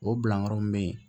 O bilayɔrɔ mun be yen